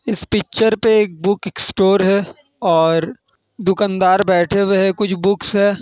इस पिक्चर पे एक बुकस्टोर है। और दुकानदार बैठे हुए है। कुछ बुक्स है।